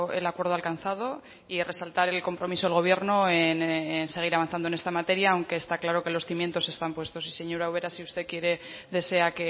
el acuerdo alcanzado y resaltar el compromiso del gobierno en seguir avanzando en esta materia aunque está claro que los cimientos están puestos y señora ubera si usted quiere y desea